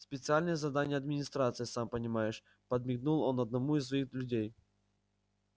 специальные задания администрации сам понимаешь подмигнул он одному из своих людей